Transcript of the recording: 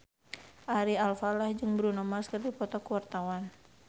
Ari Alfalah jeung Bruno Mars keur dipoto ku wartawan